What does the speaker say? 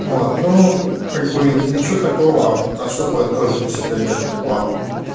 вот ну как бы ничего такого особо тоже для себя не откопал